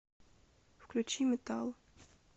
включи метал